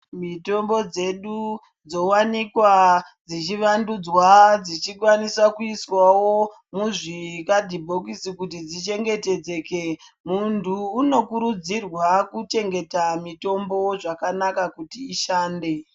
Mitombo dzedu dzowanikwa dzichivandudzwa dzichikwanisa kuiswawo muzvikhadhibhokisi kuti dzichengeteke. Muntu unokurudzirwa kuchengeta mitombo zvakanakakuti ishande.